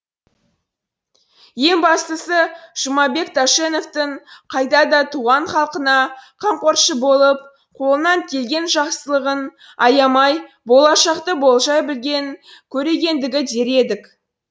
ең бастысы жұмабек тәшеновтің қайда да туған халқына қамқоршы болып қолынан келген жақсылығын аямай болашақты болжай білген көрегендігі дер едік